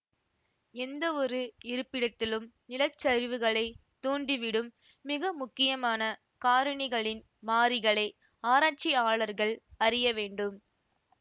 எந்தவொரு இருப்பிடத்திலும் நிலச்சரிவுகளைத் தூண்டிவிடும் மிக முக்கியமான காரணிகளின் மாறிகளை ஆராச்சியாளர்கள் அறிய வேண்டும்